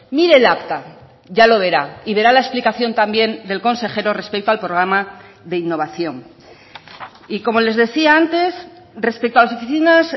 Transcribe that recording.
mire el acta ya lo verá y verá la explicación también del consejero respecto al programa de innovación y como les decía antes respecto a las oficinas